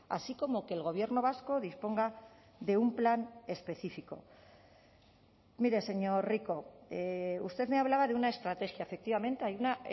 así como que el gobierno vasco disponga de un plan específico mire señor rico usted me hablaba de una estrategia efectivamente hay una